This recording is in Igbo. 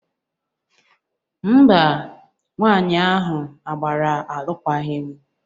Mba, nwaanyị ahụ a gbara alụkwaghịm